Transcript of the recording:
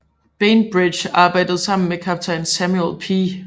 Bainbridge arbejdede sammen med kaptajn Samuel P